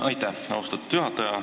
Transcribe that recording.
Aitäh, austatud juhataja!